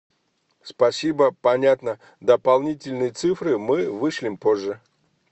спасибо понятно дополнительные цифры мы вышлем позже